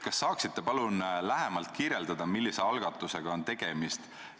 Kas te saaksite lähemalt selgitada, millise algatusega on tegemist?